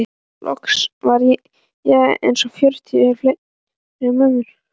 Loks var eins og fjötrar féllu af mömmu.